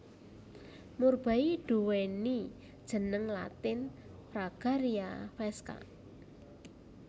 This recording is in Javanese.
Murbei nduwéni jeneng latin Fragaria vesca